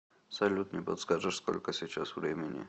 салют не подскажешь сколько сейчас времени